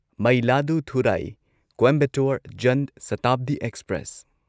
Mayiladuthurai Coimbatore Jan Shatabdi express